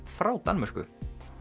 frá Danmörku